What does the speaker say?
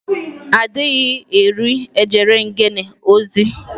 A dịghị iri ejere ngene ozi.